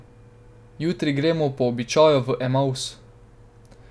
Jutri gremo po običaju v Emavs.